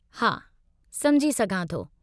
हा, सम्झी सघां थो।